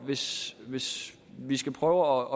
hvis hvis vi skal prøve